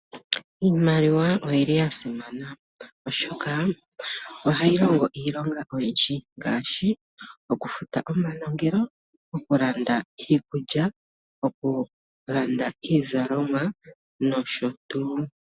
Iimaliwa oyili yasimana oshoka ohayi longo iilonga oyindji ngaashi okufuta omanongelo, okulanda iikulya, okulanda iizalomwa nosho tuu.